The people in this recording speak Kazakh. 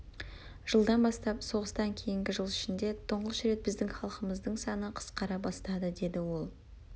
жылдан бастап соғыстан кейінгі жыл ішінде тұңғыш рет біздің халқымыздың саны қысқара бастады деді ол